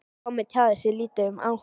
Tommi tjáði sig lítið um áhuga